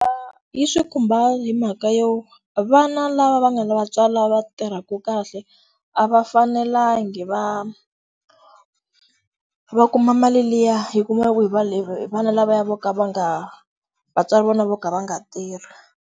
yi swi khumba hi mhaka yo vana lava va nga lava tswari va tirhaku kahle a va fanelangi va va kuma mali liya yi kumiwaku hi va le vana lava vo ka va nga vatswari va vona vo ka va nga tirhi.